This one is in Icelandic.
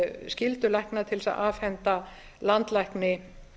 skyldu lækna til þess að afhenda landlækni